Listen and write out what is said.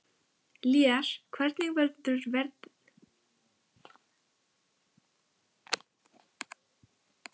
Lér, hvernig verður veðrið á morgun?